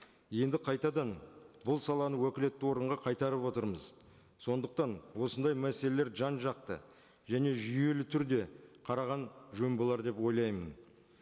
енді қайтадан бұл саланы уәкілетті органға қайтарып отырмыз сондықтан осындай мәселелер жан жақты және жүйелі түрде қараған жөн болар деп ойлаймын